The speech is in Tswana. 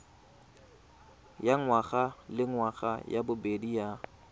ya ngwagalengwaga ya bobedi ya